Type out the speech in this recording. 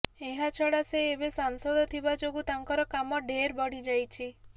ଏହା ଛଡା ସେ ଏବେ ସାଂସଦ ଥିବା ଯୋଗୁ ତାଙ୍କର କାମ ଢେର ବଢିଯାଇଛି